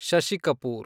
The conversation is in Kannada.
ಶಶಿ ಕಪೂರ್